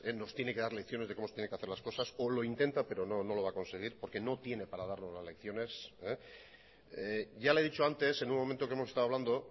nos tiene que dar lecciones de cómo se tienen que hacer las cosas o lo intenta pero no lo va a conseguir porque no tiene para darnos las lecciones ya le he dicho antes en un momento que hemos estado hablando